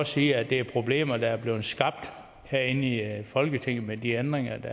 sige at det er problemer der er blevet skabt herinde i folketinget med de ændringer